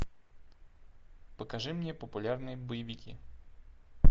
покажи мне популярные боевики